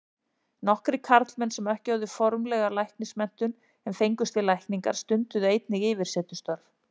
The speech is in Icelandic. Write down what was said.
Nokkrir karlmenn sem ekki höfðu formlega læknismenntun en fengust við lækningar, stunduðu einnig yfirsetustörf.